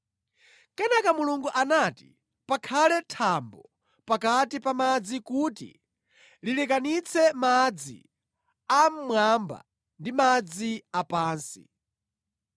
Kenaka Mulungu anati, “Pakhale thambo pakati pa madzi kuti lilekanitse madzi a mʼmwamba ndi madzi a pansi.”